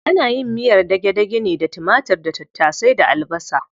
Ana yin miyar dage-dage ne da timatir da tattasai da albasa.